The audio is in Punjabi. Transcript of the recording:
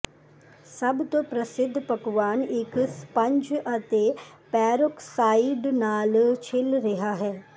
ਸਭ ਤੋਂ ਪ੍ਰਸਿੱਧ ਪਕਵਾਨ ਇੱਕ ਸਪੰਜ ਅਤੇ ਪੈਰੋਕਸਾਈਡ ਨਾਲ ਛਿੱਲ ਰਿਹਾ ਹੈ